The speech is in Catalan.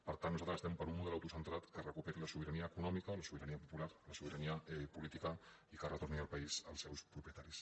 per tant nosaltres estem per un model auto·centrat que recuperi la sobirania econòmica la sobira·nia popular la sobirania política i que retorni el país als seus propietaris